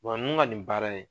ninnu ka nin baara in